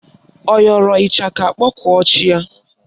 Ọ yọrọ ịchaka kpọkuo chi ya?